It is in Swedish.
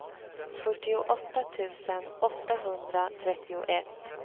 fyrtioåtta tusen åttahundratrettioett